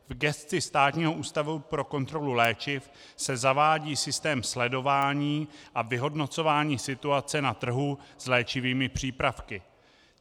V gesci Státního ústavu pro kontrolu léčiv se zavádí systém sledování a vyhodnocování situace na trhu s léčivými přípravky.